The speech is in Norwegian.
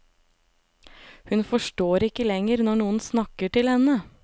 Hun forstår ikke lenger når noen snakker til henne.